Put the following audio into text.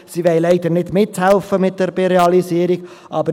Sie wollen leider bei der Realisierung nicht mithelfen.